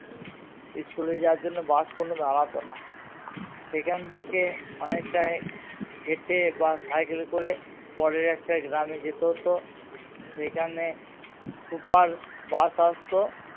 school এ যাওয়ার জন্যে বাস কোনো দাঁড়াতো না সেখান থেকে অনেকটা হেঠে বা সাইকেল করে পরের একটা গ্রাম এ যেতে হতো সেখানে super বাস আসতো